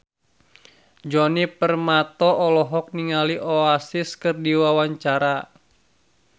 Djoni Permato olohok ningali Oasis keur diwawancara